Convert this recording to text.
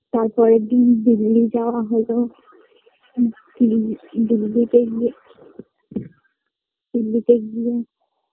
তার পরের দিন দিল্লি যাওয়া হলো ম দিল্লি দিল্লিতে গিয়ে দিল্লিতে গিয়ে